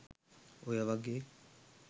ඔය වගේ